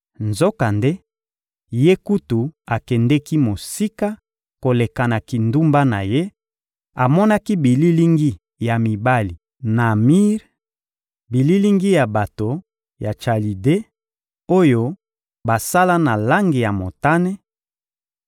Nzokande, ye kutu akendeki mosika koleka na kindumba na ye; amonaki bililingi ya mibali na mir, bililingi ya bato ya Chalide, oyo basala na langi ya motane;